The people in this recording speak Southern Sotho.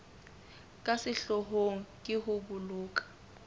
ka sehloohong ke ho boloka